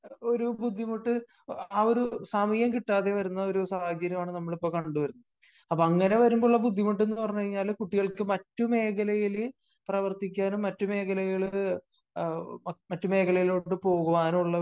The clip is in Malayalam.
ഒരു ബുദ്ധിമുട്ട് ആ ഒരു സമയം കിട്ടാതെ വരുന്ന ആ ഒരു സാഹചര്യം ആണ് നമ്മൾ ഇപ്പോ കണ്ടു വരുന്നത്. അപ്പോ അങ്ങനെ വരുമ്പോ ഉള്ള ബുദ്ധിമുട്ട് എന്ന് പറഞ്ഞു കഴിഞ്ഞാല് കുട്ടികൾക്ക് മറ്റ് മേഖലയില് പ്രവർത്തിക്കാനും മറ്റ് മേഖലയില് മേഖലയിലോട്ട് പോകുവാനുള്ള